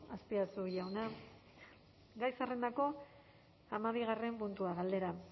azpiazu jauna gai zerrendako hamabigarren puntua galdera